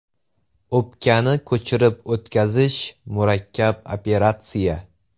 O‘pkani ko‘chirib o‘tkazish murakkab operatsiya.